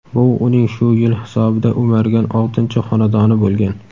Bu uning shu yil hisobida o‘margan oltinchi xonadoni bo‘lgan.